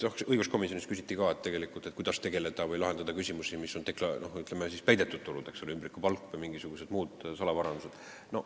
Õiguskomisjonis küsiti ka, kuidas lahendada neid küsimusi, ütleme, peidetud tulud, ümbrikupalk või mingisugused muud salavarandused.